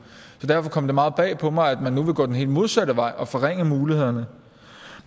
så derfor kom det meget bag på mig at man nu vil gå den helt modsatte vej og forringe mulighederne